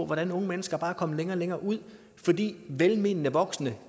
hvordan unge mennesker bare er kommet længere og længere ud fordi velmenende voksne